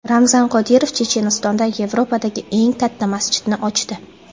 Ramzan Qodirov Chechenistonda Yevropadagi eng katta masjidni ochdi.